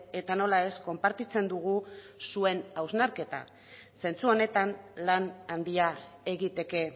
eta nola ez konpartitzen dugu zuen hausnarketa zentzu honetan lan handia egiteke